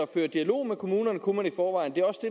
føre dialog med kommunerne kunne man i forvejen det